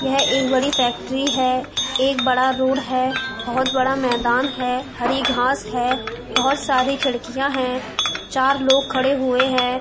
यह एक बड़ी फैक्ट्री है। एक बड़ा रोड है। बहोत बड़ा मैदान है। हरी घास है। बहोत सारी खिड़कियाँ हैं। चार लोग खड़े हुए हैं।